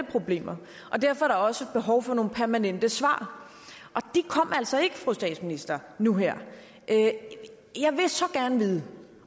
problemer og derfor er der også behov for nogle permanente svar og de kom altså ikke fru statsminister nu her jeg vil så gerne vide